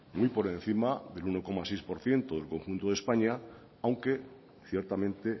muy por encima del uno coma seis por ciento del conjunto de españa aunque ciertamente